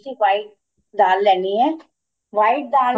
white ਦਾਲ ਲੈਣੀ ਏ white ਦਾਲ